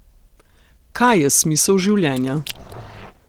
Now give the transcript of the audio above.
Kaj je smisel življenja?